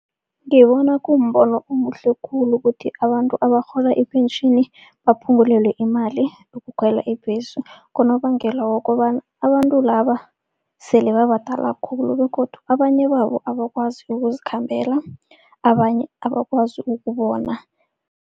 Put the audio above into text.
Ngibona kumbono omuhle khulu kuthi abantu abarhola ipentjhini baphungulelwe imali yokukhwela ibhesi. Ngonobangela wokobana abantu laba sele babadala khulu begodu abanye babo abakwazi ukuzikhambela, abanye abakwazi ukubona.